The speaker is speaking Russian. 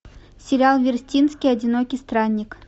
сериал вертинский одинокий странник